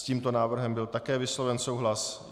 S tímto návrhem byl také vysloven souhlas.